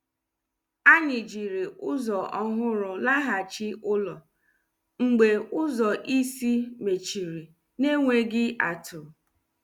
Anyị jiri ụzọ ọhụrụ laghachi ụlọ mgbe ụzọ isi mechiri n’enweghị atụ.